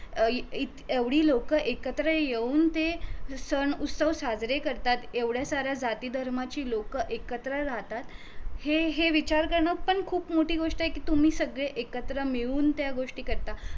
अं एवढी लोक एकत्र येऊन ते सण उत्सव साजरे करतात एवढया साऱ्या जाती धर्माची लोक एकत्र राहतात हे हे विचार करण पण खूप मोठी गोष्ट ए कि तुम्ही सगळे एकत्र मिळून त्या गोष्टी करता